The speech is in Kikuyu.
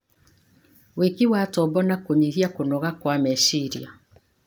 wĩki wa tombo na kũnyihia kũnoga kwa meciria.